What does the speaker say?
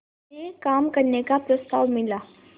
में काम करने का प्रस्ताव मिला